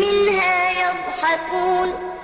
مِّنْهَا يَضْحَكُونَ